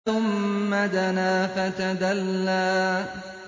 ثُمَّ دَنَا فَتَدَلَّىٰ